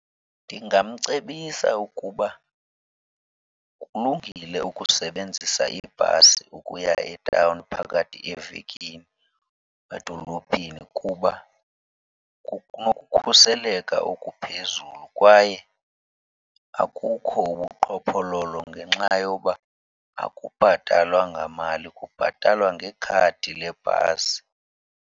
Ndingamcebisa ukuba kulungile ukusebenzisa ibhasi ukuya etawuni phakathi evekini, edolophini, kuba kunokhuseleka okuphezulu kwaye akukho ubuqhophololo ngenxa yoba akubhatalwa ngamali, kubhatalwa ngekhadi lebhasi.